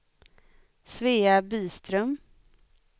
Svea Byström